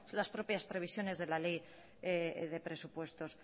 las propias previsiones de la ley de presupuestos